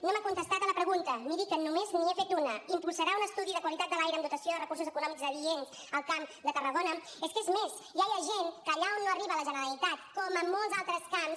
no m’ha contestat a la pregunta miri que només n’hi he fet una impulsarà un estudi de qualitat de l’aire amb dotació de recursos econòmics adients al camp de tarragona és que és més ja hi ha gent que allà on no arriba la generalitat com en molts altres camps